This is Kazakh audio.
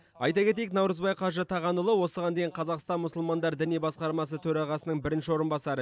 айта кетейік наурызбай қажы тағанұлы осыған дейін қазақстан мұсылмандар діни басқармасы төрағасының бірінші орынбасары